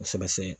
Kosɛbɛ